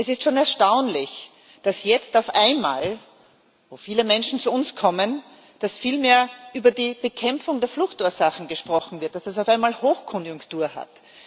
Es ist schon erstaunlich, dass jetzt auf einmal, wo viele Menschen zu uns kommen, viel mehr über die Bekämpfung der Fluchtursachen gesprochen wird, dass das auf einmal Hochkonjunktur hat.